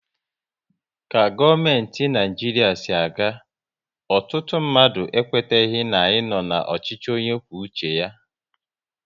Ka gọọmenti Naijiria si aga, ọtụtụ mmadụ ekweteghi na anyị nọ n'ọchịchị onye kwuo uche ya